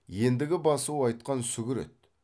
ендігі басу айтқан сүгір еді